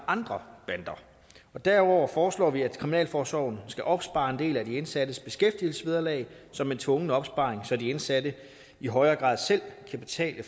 andre bander derudover foreslår vi at kriminalforsorgen skal opspare en del af de indsattes beskæftigelsesvederlag som en tvungen opsparing så de indsatte i højere grad selv kan betale